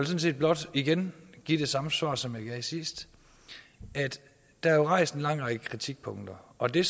set blot igen give det samme svar som jeg gav sidst der er jo rejst en lang række kritikpunkter og det